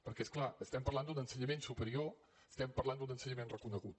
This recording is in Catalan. perquè és clar estem parlant d’un ensenyament superior estem parlant d’un ensenyament reconegut